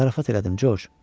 Zarafat elədim, Corc.